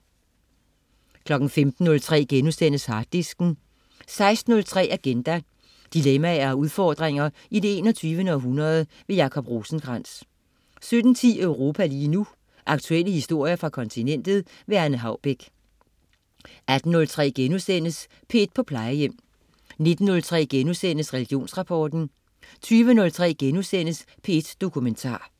15.03 Harddisken* 16.03 Agenda. Dilemmaer og udfordringer i det 21. århundrede. Jacob Rosenkrands 17.10 Europa lige nu. Aktuelle historier fra kontinentet. Anne Haubek 18.03 P1 på Plejehjem* 19.03 Religionsrapport* 20.03 P1 Dokumentar*